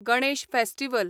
Ganesh festival